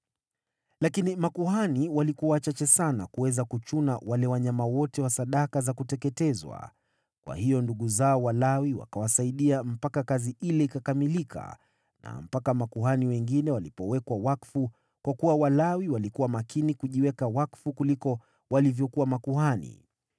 Lakini makuhani walikuwa wachache sana kuweza kuchuna wale wanyama wote wa sadaka za kuteketezwa, kwa hiyo ndugu zao Walawi wakawasaidia mpaka kazi ile ikakamilika na mpaka makuhani wengine walipowekwa wakfu, kwa kuwa Walawi walikuwa makini kujiweka wakfu kuliko walivyokuwa makuhani.